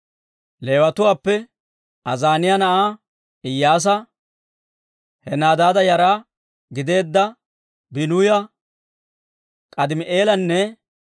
Leewatuwaappe: Azaaniyaa na'aa Iyyaasa, Henadaada yara gideedda Biinuya, K'aadimi'eelanne